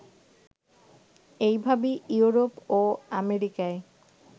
এইভাবে ইউরোপ ও আমেরিকায়